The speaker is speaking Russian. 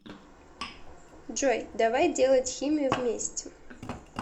джой давай делать химию вместе